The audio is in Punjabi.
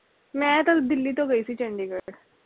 ਮੈਂ ਤਾ ਦਿੱਲੀ ਤੋਂ ਗਈ ਸੀ ਚੰਡੀਗੜ੍ਹ